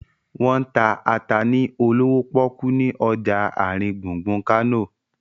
Wọ́n ń ta ata ni olówó pọ́kú ni ọjà àrin gbùngbùn Kánò